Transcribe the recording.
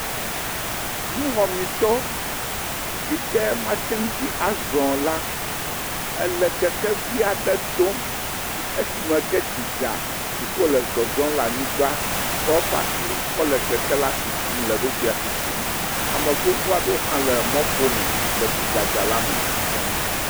Nuwɔmitɔ yike mateŋti azɔ o la ele kekevi aɖe dom esime tsi dza yike wole zɔzɔm le anyigba kɔ eƒe asi kɔ le kekea tutum le eɖokui la tutum ame gbogbo aɖewo ha le mɔƒome le tsidzadza la me zɔm